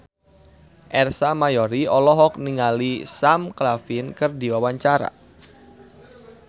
Ersa Mayori olohok ningali Sam Claflin keur diwawancara